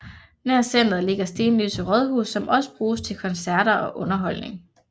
Nær centeret ligger Stenløse Rådhus som også bruges til koncerter og underholdning